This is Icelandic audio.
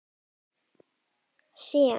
Hnattlíkan sem sýnir Svalbarða með rauðum hring.